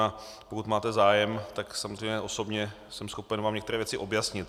A pokud máte zájem, tak samozřejmě osobně jsem schopen vám některé věci objasnit.